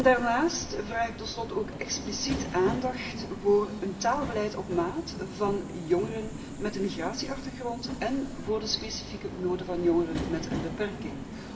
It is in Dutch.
Daarnaast vraag ik ten slotte ook expliciet aandacht voor een taalbeleid op maat voor jongeren met een migratieachtergrond, alsook voor de specifieke noden van jongeren met een beperking.